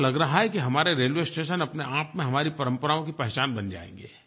ऐसा लग रहा है कि हमारे रेलवे स्टेशन अपने आप में हमारी परम्पराओं की पहचान बन जायेंगे